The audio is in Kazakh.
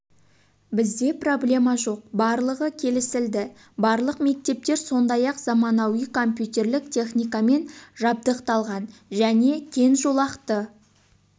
бізде проблема жоқ барлығы келісілді барлық мектептер сондай-ақ заманауи компьютерлік техникамен жабдықталған және кең жолақты